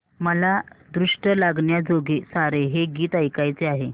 मला दृष्ट लागण्याजोगे सारे हे गीत ऐकायचे आहे